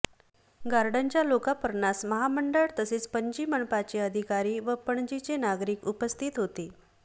गार्डनच्या लोकापर्णास महामंडळ तसेच पणजी मनपाचे अधिकारी व पणजीचे नागरिक उपस्थित होते